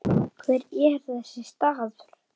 Hver er þessi staður?